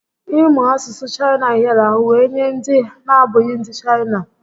Ị mụ asụsụ Chaịna hịara ahụ wee nye ndị na abụghị ndị Chaịna